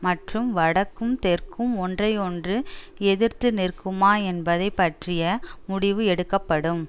மற்றும் வடக்கும் தெற்கும் ஒன்றையொன்று எதிர்த்துநிற்குமா என்பதை பற்றிய முடிவு எடுக்கப்படும்